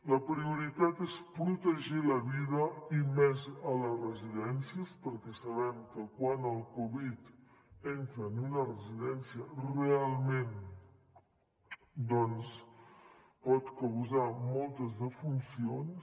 la prioritat és protegir la vida i més a les residències perquè sabem que quan el covid entra en una residència realment doncs pot causar moltes defuncions